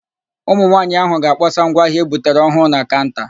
Ụmụnwaanyị áhụ̀ ga-akpọsa ngwa ahịa e butere ọhụụ na kaụnta.